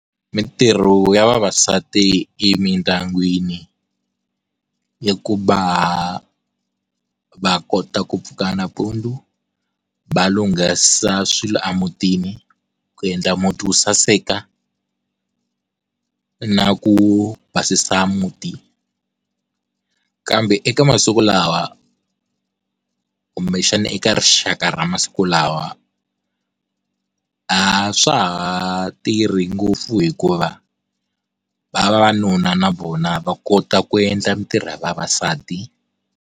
Mintirho ya vavasati emindyangwini i ku va va kota ku pfuka nampundzu va lunghisa swilo emutini, ku endla muti wu saseka na ku basisa muti kambe eka masiku lawa kumbexana eka rixaka ra masiku lawa a swa ha tirhi ngopfu hikuva vavanuna na vona va kota ku endla mintirho ya vavasati.